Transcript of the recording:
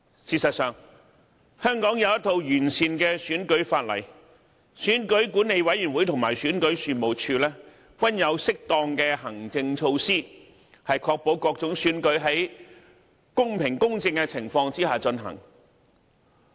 事實上，香港有一套完善的選舉法例，選舉管理委員會和選舉事務處均有適當的行政措施，確保各種選舉在公平公正的情況下進行。